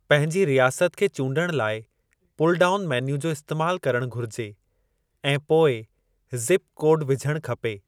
पंहिंजी रियासत खे चूंडणु लाइ पुल डाउन मेन्यू जो इस्तेमाल करणु घुरिजे ऐं पोइ ज़िप कोड विझणु खपे।